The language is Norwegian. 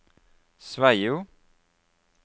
Sveio